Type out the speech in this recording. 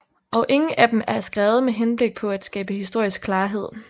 Og ingen af dem er skrevet med henblik på at skabe historisk klarhed